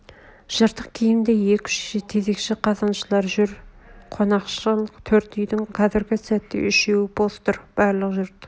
жыртық киімді екі-үш тезекші қазаншылар жүр қонақшыл төрт үйдің қазргі сәтте үшеу бос тұр барлық жұрт